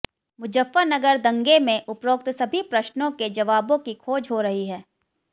मुजफ्फरनगर दंगे में उपरोक्त सभी प्रश्नों के जवाबों की खोज हो रही है